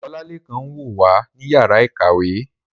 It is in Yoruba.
Olalekan n wo wa ni yara ikawe